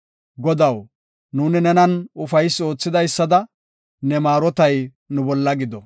Godaw, nuuni nenan ufaysi oothidaysada, ne maarotay nu bolla gido.